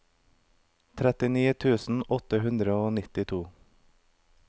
trettini tusen åtte hundre og nittito